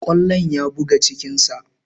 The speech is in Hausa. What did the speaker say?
Kwallon ya buga cikin sa